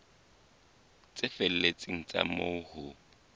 tse felletseng tsa moo ho